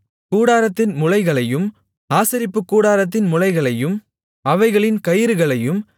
கூடாரத்தின் முளைகளையும் ஆசரிப்புக்கூடாரத்தின் முளைகளையும் அவைகளின் கயிறுகளையும்